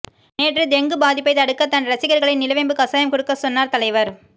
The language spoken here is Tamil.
நேற்று டெங்கு பாதிப்பை தடுக்க தன் ரசிகர்களை நிலவேம்பு கசாயம் குடுக்க சொன்னார் தலைவர்